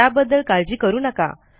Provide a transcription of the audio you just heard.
त्याबद्दल काळजी करू नका